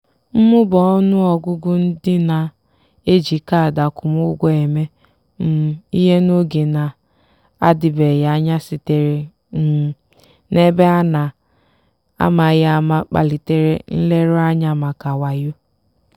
mmụba ọnụ ọgụgụ ndị na-eji kaadị akwụmụgwọ eme um ihe n'oge na-adịbeghị anya sitere um na ebe a na-amaghị ama kpalitere nleruanya maka wayo.